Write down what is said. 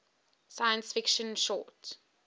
science fiction short